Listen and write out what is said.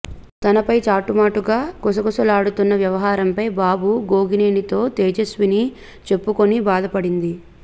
తనపై చాటుమాటుగా గుసగుసలాడుతున్న వ్యవహారంపై బాబు గోగినేనితో తేజస్విని చెప్పుకొని బాధపడింది